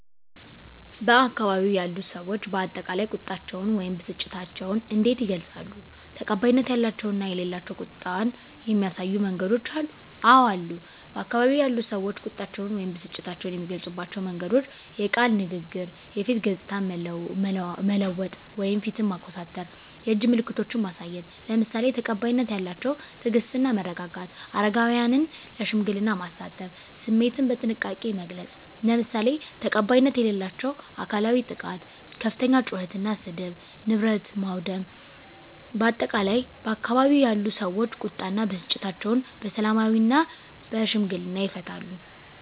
በአካባቢው ያሉ ሰዎች በአጠቃላይ ቁጣቸውን ወይም ብስጭታቸውን እንዴት ይገልጻሉ? ተቀባይነት ያላቸው እና የሌላቸው ቁጣን የሚያሳዩ መንገዶች አሉ? *አወ አሉ፦ በአካባቢው ያሉ ሰዎች ቁጣቸውን ወይም ብስጭታቸውን የሚገልጹባቸው መንገዶች፦ * የቃል ንግግር *የፊት ገጽታን መለወጥ (ፊትን ማኮሳተር)፣ *የእጅ ምልክቶችን ማሳየት፣ **ለምሳሌ፦ ተቀባይነት ያላቸው * ትዕግስት እና መረጋጋት: * አረጋውያንን ለሽምግልና ማሳተፍ።: * ስሜትን በጥንቃቄ መግለጽ: **ለምሳሌ፦ ተቀባይነት የሌላቸው * አካላዊ ጥቃት * ከፍተኛ ጩኸት እና ስድብ: * ንብረት ማውደም: በአጠቃላይ፣ ባካባቢው ያሉ ሰዎች ቁጣ እና ብስጭታቸውን በሰላማዊና በሽምግልና ይፈታሉ።